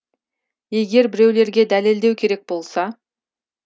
егер біреулерге дәлелдеу керек болса